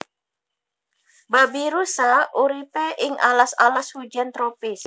Babirusa uripe ing alas alas hujan tropis